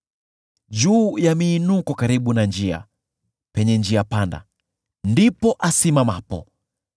Juu ya miinuko karibu na njia, penye njia panda, ndipo asimamapo;